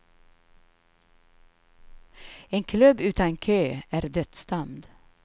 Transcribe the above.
En klubb utan kö är dödsdömd.